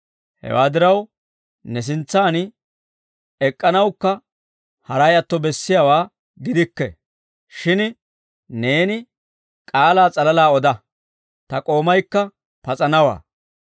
Hawaa diraw ne sintsaan ek'k'anawukka haray atto bessiyaawaa gidikke. Shin neeni k'aalaa s'alalaa oda; ta k'oomaykka pas'anawaa.